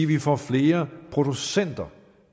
vi får flere producenter